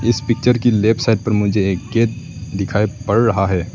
जिस पिक्चर की left side पर मुझे एक गेट दिखाई पड़ रहा है।